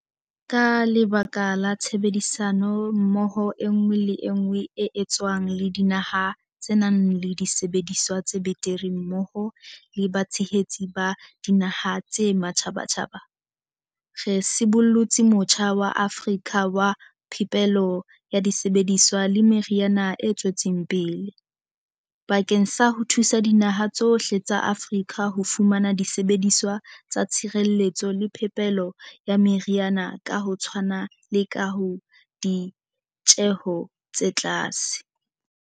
Ka lebaka la tshebedisano mmoho enngwe le enngwe e etswang le dinaha tse nang le disebediswa tse betere mmoho le batshehetsi ba dinaha tsa matjhabatjhaba. Re sibollotse motjha wa Afrika wa phepelo ya disebediswa le meriana o tswetseng pele. Bakeng sa ho thusa dinaha tsohle tsa Afrika ho fumana disebediswa tsa tshireletso le phepelo ya meriana ka ho tshwana le ka ditjeho tse tlase.